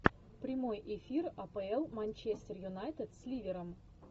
прямой эфир апл манчестер юнайтед с ливером